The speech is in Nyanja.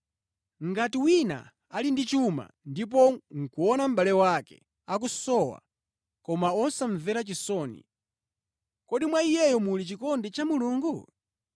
Ngati wina ali ndi chuma ndipo nʼkuona mʼbale wake akusowa, koma wosamvera chisoni, kodi mwa iyeyo muli chikondi cha Mulungu?